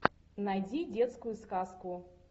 найди детскую сказку